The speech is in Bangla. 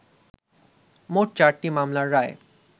মোট চারটি মামলার রায়